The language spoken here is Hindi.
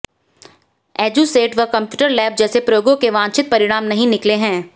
एजुसेट व कंप्यूटर लैब जैसे प्रयोगों के वांछित परिणाम नहीं निकले हैं